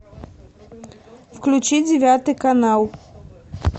включи девятый канал